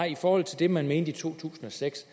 i forhold til det man mente i to tusind og seks